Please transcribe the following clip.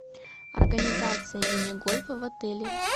организация мини гольфа в отеле